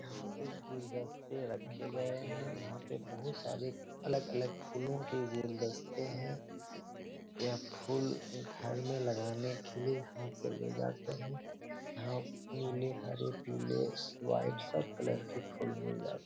यहाँ पे गुलदस्ते रखे गए है यहाँ पे बहोत सारे अलग-अलग फूलो के गुलदस्ते हैं यह फूल घर में लगाने के लिए यहाँ से ले जाते हैं यहाँ नीले हरे पीले वाइट सब कलर के फूल मिल जा --